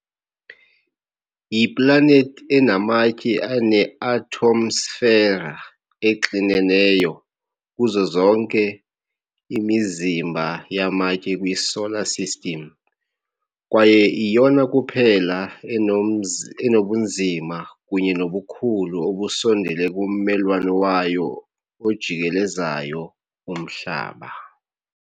Yiplanethi enamatye eneatmosfera exineneyo kuzo zonke imizimba yamatye kwiSolar System, kwaye iyona kuphela enomzi enobunzima kunye nobukhulu obusondele kummelwane wayo ojikelezayo uMhlaba .